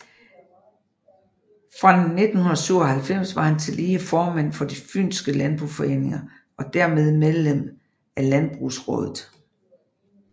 Fra 1997 var han tillige formand for De fynske Landboforeninger og dermed medlem af Landbrugsraadet